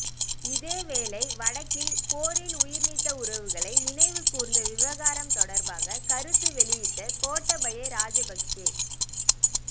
இதேவேளை வடக்கில் போரில் உயிர்நீத்த உறவுகளை நினைவுகூர்ந்த விவகாரம் தொடர்பாக கருத்து வெளியிட்ட கோட்டாபய ராஜபக்சஇ